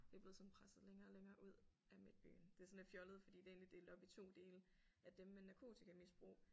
Det er blevet sådan presset længere og længere ud af midtbyen. Det er sådan lidt fjollet fordi det er egentlig delt op i 2 dele at dem med narkotikamisbrug